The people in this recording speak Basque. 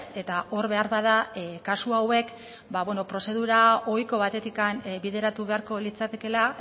eta hor beharbada kasu hauek prozedura ohiko batetik bideratu beharko litzatekeela